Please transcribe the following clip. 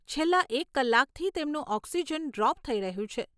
છેલ્લા એક કલાકથી તેમનું ઓક્સિજન ડ્રોપ થઈ રહ્યું છે.